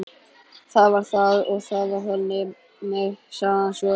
Það var það og það var þannig, sagði hann svo.